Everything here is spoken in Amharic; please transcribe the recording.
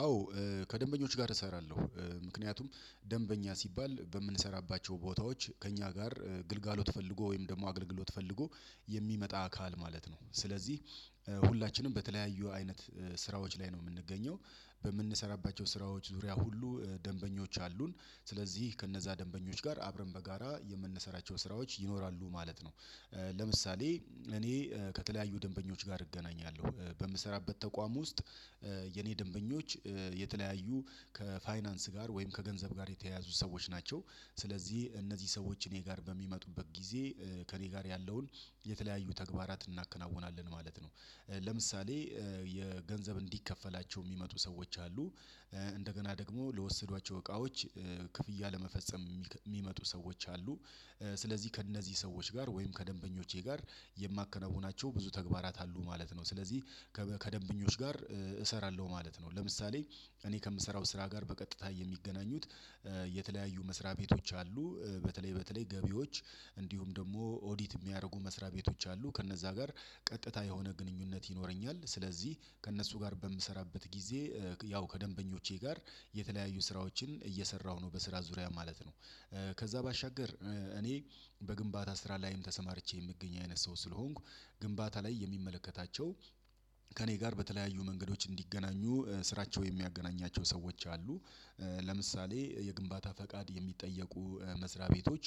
አዎ። ከደንበኞች ጋር እሰራለሁ ምክንያቱም ደንበኛ ሲባል በምንሰራባቸው ቦታዎች ከእኛ ጋር ግልጋሎት ፈልጎ ወይም ደግሞ አገልግሎት ፈልጎ የሚመጣ አካል ማለት ነው። ስለዚህ ሁላችንም በተለያዩ አይነት ስራዎች ላይ ነው የምንገኘው በምንሰራባቸው ስራዎች ዙሪያ ሁሉ ደንበኞች አሉን ስለዚህ ከነዛ ደንበኞች ጋር አብረን በጋራ የምንሰራቸው ስራዎች ይኖራሉ ማለት ነው። ለምሳሌ እኔ ከተለያዩ ደንበኞች ጋር እገናኛለሁ በምሰራበት ተቋም ውስጥ የኔ ደንበኞች የተለያዩ ከፋይናንስ ጋር ወይም ከገንዘብ ጋር የተያያዙ ሰዎች ናቸው። ስለዚህ እነዚህ ሰዎች እኔ ጋር በሚመጡበት ጊዜ ከእኔ ጋር ያለውን የተለያዩ ተግባራትን እናከናውናለን ማለት ነው። ለምሳሌ የገንዘብ እንዲከፈላቸው የሚመጡ ሰዎች አሉ። እንደገና ደግሞ ለወሰዷቸው እቃዎች ክፍያ ለመፈጸም የሚመጡ ሰዎች አሉ። ስለዚህ ከእነዚህ ሰዎች ጋር ወይም ከደንበኞቼ ጋር የማከናውናቸው ብዙ ተግባራት አሉ ማለት ነው ስለዚህ ከደንብኞች ጋር እሰራለሁ ማለት ነው። ለምሳሌ እኔ ከምሰራው ስራ ጋር በቀጥታ የሚገናኙት የተለያዩ መስሪያ ቤቶች አሉ። በተለይ በተለይ ገቢዎች እንዲሁም ደግሞ ኦዲት የሚያደርጉ መስሪያ ቤቶች አሉ ከእነዛ ጋር ቀጥታ የሆነ ግንኙነት ይኖረኛል። ስለዚህ ከእነሱ ጋር በምሰራበት ጊዜ ያው ከደንበኞቼ ጋር የተለያዩ ስራዎችን እየሰራሁ ነው በስራ ዙሪያ ማለት ነው። ከዛ ባሻገር እኔ በግንባታ ስራ ላይም ተሰማርቼ የምገኝ አይነት ሰው ስለሆንኩ ግንባታ ላይ የሚመለከታቸው ከእኔ ጋር በተለያዩ መንገዶች እንዲገናኙ ስራቸው የሚያገናኛቸው ሰዎች አሉ። ለምሳሌ የግንባታ ፈቃድ የሚጠየቁ መስሪያ ቤቶች